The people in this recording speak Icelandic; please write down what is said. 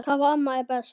Hvaða amma er best?